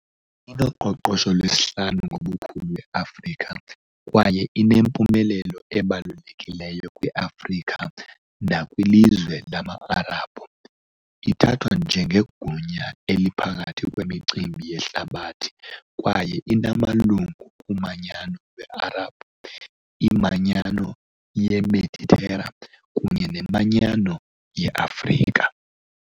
Inoqoqosho lwesihlanu ngobukhulu e-Afrika kwaye inempumelelo ebalulekileyo kwi-Afrika nakwilizwe lama -Arabhu, ithathwa njengegunya eliphakathi kwimicimbi yehlabathi kwaye inamalungu kuManyano lweArabhu, iManyano yeMeditera kunye neManyano yeAfrika.